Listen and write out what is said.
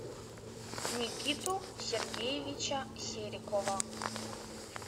никиту сергеевича серикова